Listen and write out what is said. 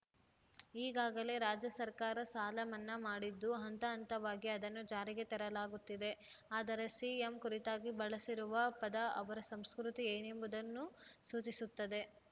ಈಗಾಗಲೇ ರಾಜ್ಯ ಸರ್ಕಾರ ಸಾಲ ಮನ್ನಾ ಮಾಡಿದ್ದು ಹಂತ ಹಂತವಾಗಿ ಅದನ್ನು ಜಾರಿಗೆ ತರಲಾಗುತ್ತಿದೆ ಆದರೆ ಸಿಎಂ ಕುರಿತಾಗಿ ಬಳಸಿರುವ ಪದ ಅವರ ಸಂಸ್ಕೃತಿ ಏನೆಂಬುದನ್ನು ಸೂಚಿಸುತ್ತದೆ